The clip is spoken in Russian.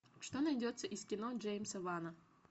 что найдется из кино джеймса вана